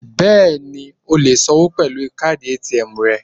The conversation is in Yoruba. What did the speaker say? Bẹ́ẹ̀ni, o lè sanwó pẹ̀lú káàdì ATM rẹ.